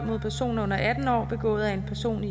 mod personer under atten år begået af en person